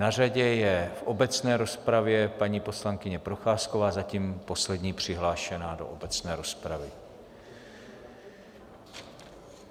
Na řadě je v obecné rozpravě paní poslankyně Procházková, zatím poslední přihlášená do obecné rozpravy.